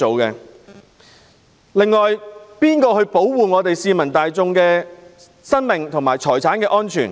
誰會保護市民大眾的生命和財產安全？